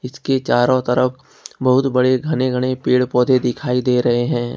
इसके चारों तरफ बहुत बड़े घने घने पेड़ पौधे दिखाई दे रहे हैं।